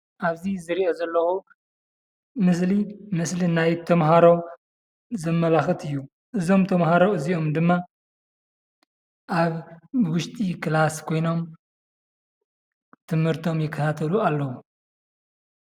ኣብዚ ዝርኦ ዘለኩ ምስሊ ምስሊ ናይ ተማሃሮ ዘማላክት እዩ፡፡ እዞም ተማሃሮ እዚኦም ድማ ኣብ ውሽጢ ክላስ ኮይኖም ትምህርቶም ይካታተሉ ኣለዉ፡፡